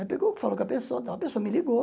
Aí pegou, falou com a pessoa, tal a pessoa me ligou.